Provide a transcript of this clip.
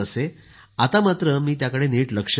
आता मात्र मी त्याकडे नीट लक्ष देते